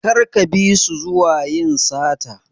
Kar ka bisu zuwa yin sata.